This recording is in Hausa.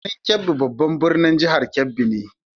Birnin Kebbi babban birnin jihar Kebbi ne.